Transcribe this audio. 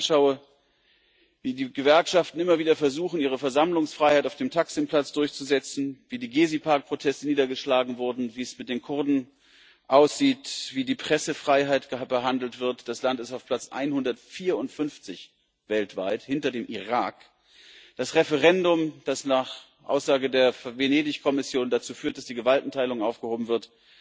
Wenn ich mir anschaue, wie die Gewerkschaften immer wieder versuchen, ihre Versammlungsfreiheit auf dem Taksim Platz durchzusetzen, wie die Gesi Platz Proteste niedergeschlagen wurden, wie es mit den Kurden aussieht, wie die Pressefreiheit behandelt wird das Land ist auf Platz 154 weltweit, hinter dem Irak das Referendum, das nach Aussage der Venedig-Kommission dazu führt, dass die Gewaltenteilung aufgehoben wird